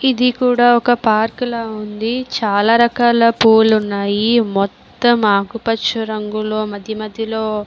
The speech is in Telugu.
ఇది కూడా ఒక పార్క్ లా ఉంది. చాలా రకాల పూలు ఉన్నాయి. మొత్తం ఆకుపచ్చ రంగులో మధ్య మధ్యలో --